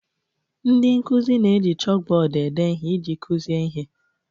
Ndị nkuzi na-eji chalkbọọdụ ede ihe iji kuzie ihe.